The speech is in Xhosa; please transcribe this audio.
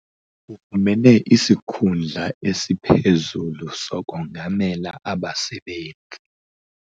Ufumene isikhundla esiphezulu sokongamela abasebenzi.